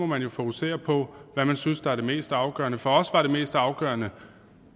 man jo fokusere på hvad man synes er det mest afgørende for os var det mest afgørende